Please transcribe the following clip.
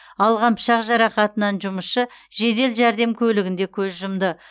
алған пышақ жарақатынан жұмысшы жедел жәрдем көлігінде көз жұмды